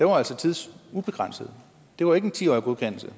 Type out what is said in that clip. var altså tidsubegrænset det var ikke en ti årig godkendelse